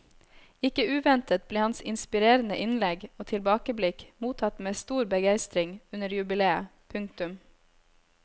Ikke uventet ble hans inspirerende innlegg og tilbakeblikk mottatt med stor begeistring under jubileet. punktum